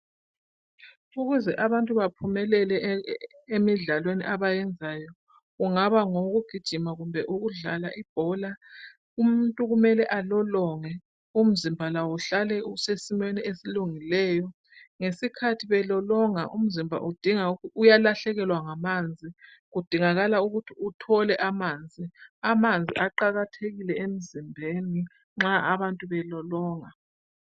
Ukuze abantu baphumelele e emidlalweni abayenzayo, ungaba ngowokugijima kumbe ukudlala ibhola, umuntu kummele alolonge umzimba lawo uhlale usesimeni esilungileyo. Ngesikhathi belolonga umzimba udinga uyalahlekelwa ngamanzi. Kudingakala ukuthi uthole amanzi, amanzi aqakathekile emzimbeni nxa abantu belolonga.